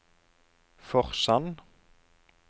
Forsand